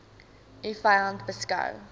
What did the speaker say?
u vyand beskou